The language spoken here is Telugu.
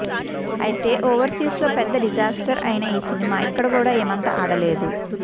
అయితే ఓవర్సీస్ లో పెద్ద డిజాస్టర్ అయిన ఈ సినిమా ఇక్కడ కూడా ఏమంత ఆడలేదు